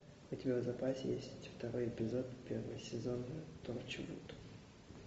у тебя в запасе есть второй эпизод первый сезон торчвуд